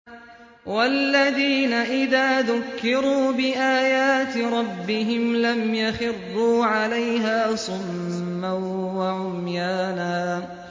وَالَّذِينَ إِذَا ذُكِّرُوا بِآيَاتِ رَبِّهِمْ لَمْ يَخِرُّوا عَلَيْهَا صُمًّا وَعُمْيَانًا